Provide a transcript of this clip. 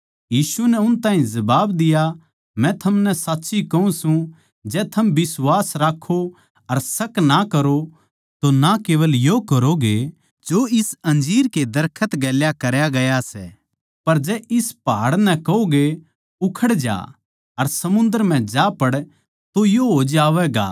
यीशु नै उन ताहीं जबाब दिया मै थमनै साच्ची कहूँ सूं जै थम बिश्वास राक्खो अर शक ना करो तो ना केवल यो करोगे जो इस अंजीर कै दरखत गेल्या करया गया सै पर जै इस पहाड़ नै कहोगे उखड़ जा अर समुन्दर म्ह जा पड़ तो यो हो जावैगा